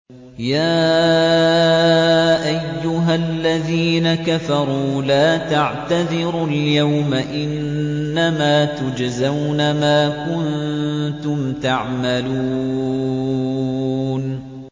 يَا أَيُّهَا الَّذِينَ كَفَرُوا لَا تَعْتَذِرُوا الْيَوْمَ ۖ إِنَّمَا تُجْزَوْنَ مَا كُنتُمْ تَعْمَلُونَ